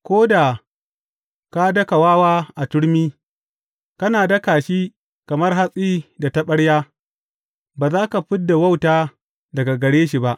Ko da ka daka wawa a turmi, kana daka shi kamar hatsi da taɓarya, ba za ka fid da wauta daga gare shi ba.